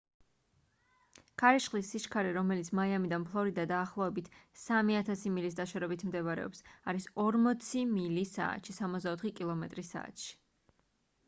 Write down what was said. ქარიშხლის სიჩარე რომელიც მაიამიდან ფლორიდა დაახლოებით 3000 მილის დაშორებით მდებარეობს არის 40 მილი საათში 64 კმ/სთ